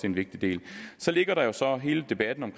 en vigtig del så ligger der jo så hele debatten om